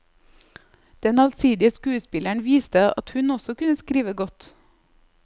Den allsidige skuespilleren viste at hun også kunne skrive godt.